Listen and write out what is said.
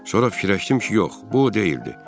Sonra fikirləşdim ki, yox, bu o deyildi.